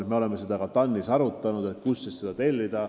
Me oleme seda ka TAN-is arutanud, kust see töö tellida.